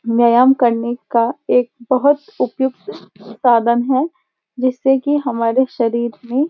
व्यायाम वार्म करने का एक बहुत उपउक्त साधन है जिससे कि हमारे शरीर में --